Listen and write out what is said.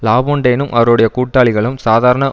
லாபொன்டைனும் அவருடைய கூட்டாளிகளும் சாதாரண